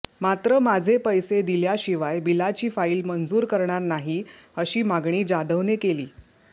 मात्र माझे पैसे दिल्याशिवाय बिलाची फाईल मंजूर करणार नाही अशी मागणी जाधवने केली